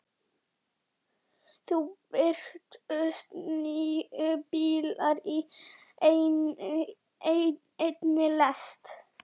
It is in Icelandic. Nú birtust níu bílar í einni lest.